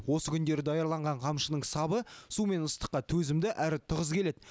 осы күндері даярланған қамшының сабы су мен ыстыққа төзімді әрі тығыз келеді